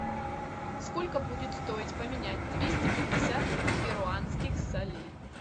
сколько будет стоить поменять двести пятьдесят перуанских солей